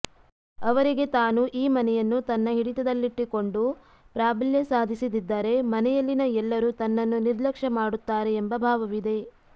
ಅವರಿಗೆ ತಾನು ಈ ಮನೆಯನ್ನು ತನ್ನ ಹಿಡಿತದಲ್ಲಿಟ್ಟುಕೊಂಡು ಪ್ರಾಬಲ್ಯ ಸಾಧಿಸಿದಿದ್ದರೆ ಮನೆಯಲ್ಲಿನ ಎಲ್ಲರೂ ತನ್ನನ್ನು ನಿರ್ಲಕ್ಷ್ಯ ಮಾಡುತ್ತಾರೆ ಎಂಬ ಭಾವವಿದೆ